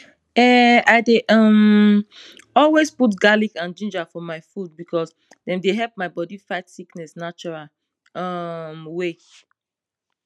enhi dey um always put garlic and ginger for my food because dem dey help my body fight sickness natural um way